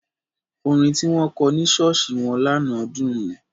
Orin tí wọ́n kọ ní ṣọ́ọ̀ṣì wọn lánàá dùn.